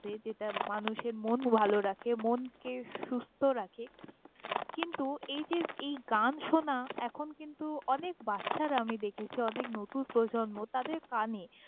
যে~ যেটা মানুষের মন ভাল রাখে, মনকে সুস্থ রাখে কিন্তু এই যে এই গান শোনা এখন কিন্তু অনেক বাচ্ছারা আমি দেখেছি, অনেক নতুন প্রজন্ম তাদের কানে।